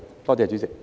多謝主席。